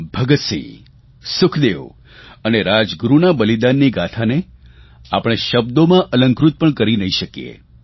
ભગતસિંહ સુખદેવ અને રાજગુરૂના બલિદાનની ગાથાને આપણે શબ્દોમાં અલંકૃત પણ કરી નહીં શકીએ